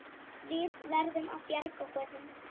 Við verðum að bjarga honum.